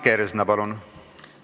Liina Kersna, palun!